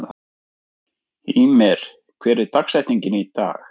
Hymir, hver er dagsetningin í dag?